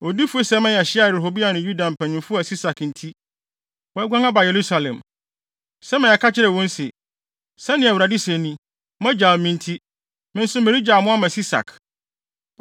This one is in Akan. Odiyifo Semaia hyiaa Rehoboam ne Yuda mpanyimfo a Sisak nti, wɔaguan aba Yerusalem. Semaia ka kyerɛɛ wɔn se, “Sɛnea Awurade se ni! Moagyaw me nti, me nso meregyaw mo ama Sisak.”